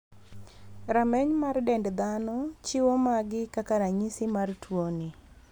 Rameny mar dend dhano chiwo magi kaka ranyisi mar tuo ni.